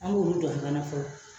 An b'olu dɔn fɔlɔ